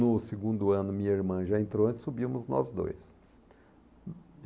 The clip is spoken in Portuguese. No segundo ano, minha irmã já entrou e subimos nós dois.